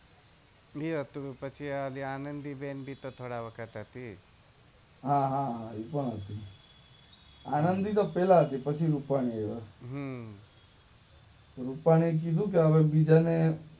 એ હતો પછી ઓલ આનંદીબેન ભીતિ થોડા વખત હતી હા હા હા એ પણ હતી આનંદી તો પેલા હતી પછી રૂપાની હતો રૂપાણીએ કીધું કે હવે બીજાને